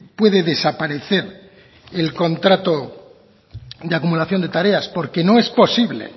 puede desaparecer el contrato de acumulación de tareas porque no es posible